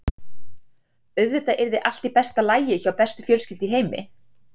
Auðvitað yrði allt í besta lagi hjá bestu fjölskyldu í heimi.